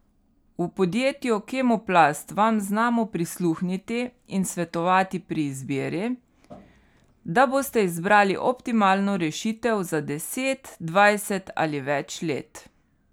V podjetju Kemoplast vam znamo prisluhniti in svetovati pri izbiri, da boste izbrali optimalno rešitev za deset, dvajset ali več let.